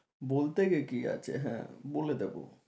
বলতে কি আছে, বলে দেব